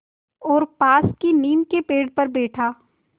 और पास की नीम के पेड़ पर बैठा